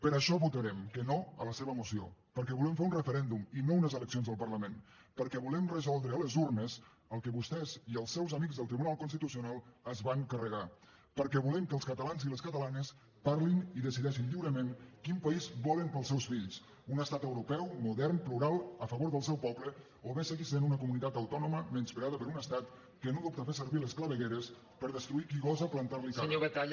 per això votarem que no a la seva moció perquè volem fer un referèndum i no unes eleccions al parlament perquè volem resoldre a les urnes el que vostès i els seus amics del tribunal constitucional es van carregar perquè volem que els catalans i les catalanes parlin i decideixin lliurement quin país volen per als seus fills un estat europeu modern plural a favor del seu poble o bé seguir sent una comunitat autònoma menyspreada per un estat que no dubta a fer servir les clavegueres per destruir qui gosa plantar li cara